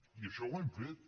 i això ho hem fet